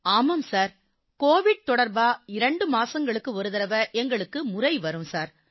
ஆமாம் sir COVID தொடர்பா 2 மாசங்களுக்கு ஒரு தடவை எங்களுக்கு முறை வரும் சார்